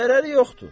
Zərəri yoxdur.